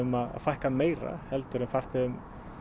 að fækka meira heldur en farþegum